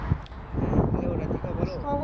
হ্যাঁ hello রাধিকা বলো